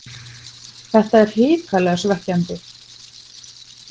Það er hrikalega svekkjandi.